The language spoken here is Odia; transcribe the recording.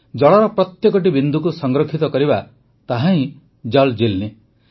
ଜଳର ପ୍ରତ୍ୟେକଟି ବିନ୍ଦୁକୁ ସଂରକ୍ଷିତ କରିବା ତାହାହିଁ ଜଲ୍ ଜୀଲ୍ନି